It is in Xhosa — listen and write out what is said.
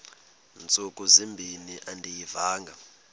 ntsuku zimbin andiyivanga